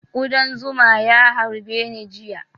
Kuɗan zuma ya harbe ni jiya